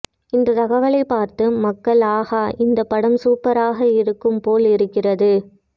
இந்த தகவலைப் பார்த்து மக்கள் ஆஹா இந்த படம் சூப்பராக இருக்கும் போல் இருக்கிறது